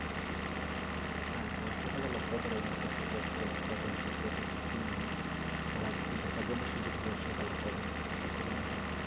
আর বর্ষা কালে লক্ষ্য করার বিষয় হচ্ছে বর্ষা কালের কদমফুল। ব্যাপারটা একটু unique. সারা বছর দেখা যায়না শুধু বর্ষা কালে কদম ফুল লক্ষ্য করা যায়।